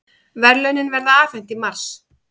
Verðlaunin verða afhent í mars